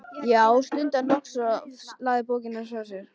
Já, stundi hann loks og lagði bókina frá sér.